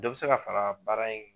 Dɔ bɛ se ka fara baara in